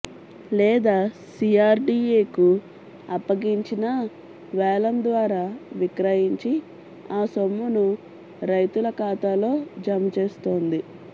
లేదా సీఆర్డీఏకు అప్పగించినా వేలం ద్వారా విక్రయించి ఆ సొమ్మును రైతుల ఖాతాలో జమచేస్తుంది